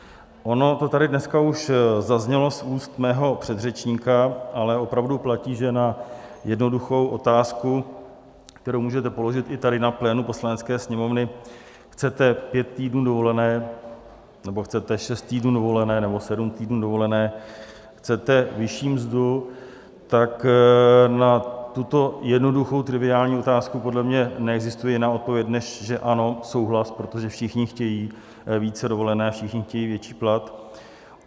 Ono to tady dneska už zaznělo z úst mého předřečníka, ale opravdu platí, že na jednoduchou otázku, kterou můžete položit i tady na plénu Poslanecké sněmovny - chcete pět týdnů dovolené, nebo chcete šest týdnů dovolené, nebo sedm týdnů dovolené, chcete vyšší mzdu? - tak na tuto jednoduchou, triviální otázku, podle mě neexistuje jiná odpověď než že ano, souhlas, protože všichni chtějí více dovolené, všichni chtějí větší plat.